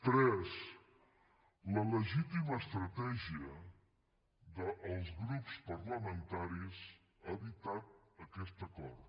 tres la legítima estratègia dels grups parlamentaris ha evitat aquest acord